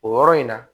O yɔrɔ in na